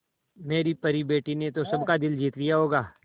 मेरी परी बेटी ने तो सबका दिल जीत लिया होगा